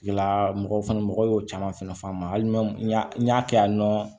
Mɔgɔw fana mɔgɔw y'o caman fɛnɛ fɔ an ma hali n'u y'a n y'a kɛ yan nɔ